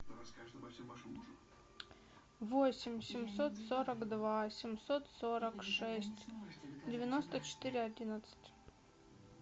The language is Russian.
восемь семьсот сорок два семьсот сорок шесть девяносто четыре одиннадцать